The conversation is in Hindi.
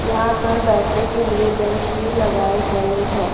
यहां पर बैठने के लिए बेंच भी लगाए गए हैं।